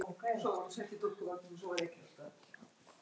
Þannig var það hjá okkur.